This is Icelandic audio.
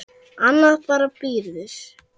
Annað bara bíður.